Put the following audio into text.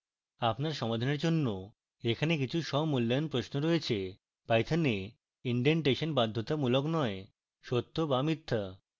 আপনার সমাধানের জন্য এখানে কিছু স্বমূল্যায়ন প্রশ্ন রয়েছে